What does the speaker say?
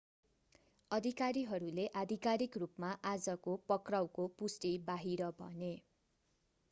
अधिकारीहरूले आधिकारिक रूपमा आजको पक्राउको पुष्टि बाहिर भने